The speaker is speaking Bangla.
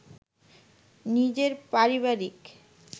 নিজের পারিবারিক